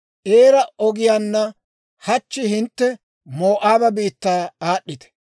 ‹Eera ogiyaanna hachchi hintte Moo'aaba biittaa aad'd'iita.